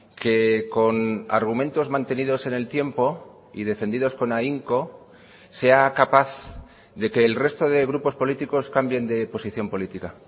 que con argumentos mantenidos en el tiempo y defendidos con ahínco sea capaz de que el resto de grupos políticos cambien de posición política